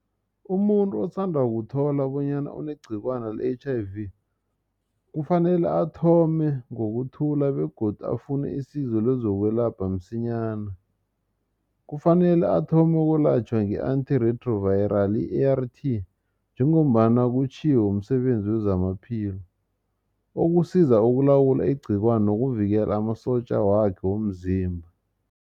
Umuntu osanda ukuthola bonyana unegcikwana le H_I_V kufanele athome ngokuthula begodu afune isizo lezokwelapha msinyana. Kufanele athome ukulatjhwa nge-Antirintroviral I-A_R_T njengombana kutjhiwo msebenzi wezamaphilo okusiza ukulawula igcikwani nokuvikela amasotja wakhe womzimba.